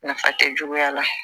Nafa tɛ juguya la